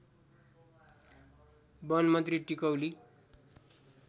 वनमन्त्री टिकौली